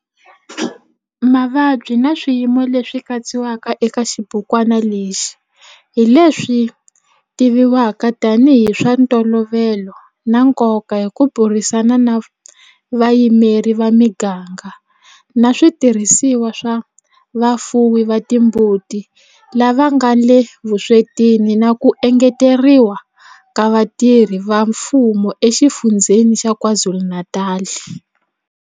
Mavabyi na swiyimo leswi katsiwaka eka xibukwana lexi hi leswi tivivwaka tanihi hi swa ntolovelo na nkoka hi ku burisana na vayimeri va miganga na switirhisiwa swa vafuwi va timbuti lava nga le vuswetini na ku engeteriwa ka vatirhi va mfumo eXifundzheni xa KwaZulu-Natal.